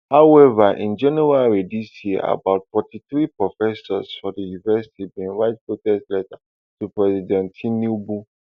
however in january dis year about forty-three professors for di university bin write protest letter to president tinubu